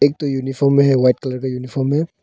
एक तो यूनिफार्म में है व्हाइट कलर का यूनिफॉर्म है।